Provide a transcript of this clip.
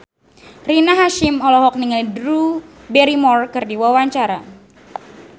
Rina Hasyim olohok ningali Drew Barrymore keur diwawancara